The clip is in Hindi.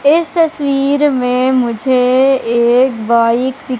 इस तस्वीर में मुझे एक बाइक दि--